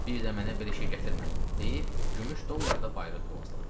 Bir də mənə belə şey gətirmə deyib gümüş dolları da bayıra tulladı.